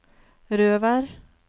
Røvær